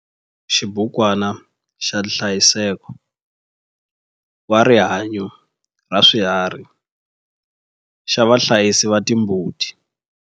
Xibukwana xa nhlayiseko wa rihanyo ra swiharhi xa vahlayisi va timbuti.